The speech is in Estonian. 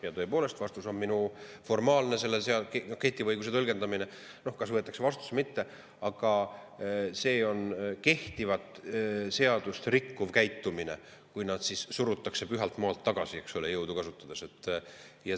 Ja tõepoolest, vastus on minul selline, et kui formaalselt kehtivat õigust tõlgendada –, kas võetakse vastutus või mitte –, siis see on kehtivat seadust rikkuv käitumine, kui surutakse pühalt maalt tagasi jõudu kasutades.